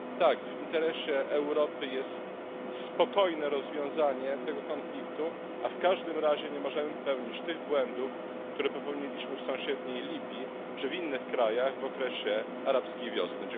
Tak, w interesie Europy jest spokojne rozwiązanie tego konfliktu, a w każdym razie nie możemy popełnić tych błędów, które popełniliśmy w sąsiedniej Libii czy w innych krajach w okresie arabskiej wiosny.